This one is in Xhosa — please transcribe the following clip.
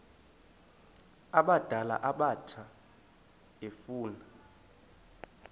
abadala abatsha efuna